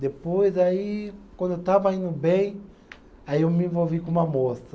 Depois, aí, quando eu estava indo bem, aí eu me envolvi com uma moça.